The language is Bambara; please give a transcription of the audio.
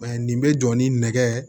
nin bɛ jɔ ni nɛgɛ